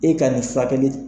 E ka nin furakɛli